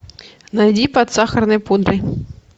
найди под сахарной пудрой